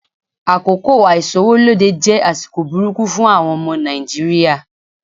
Àkókò àìsówólódé jẹ́ àsìkò burúkú fún àwọn ọmọ Nàìjíríà.